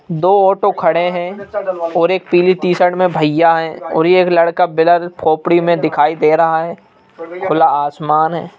दो ऑटो खड़े हैं और एक पीली टी शर्ट में भैया हैं और यह एक लड़का बिलर खोपड़ी में दिखाई दे रहा है खुला आसमान है।